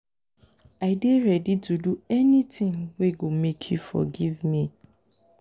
i dey ready to do anytin wey go make you forgive me.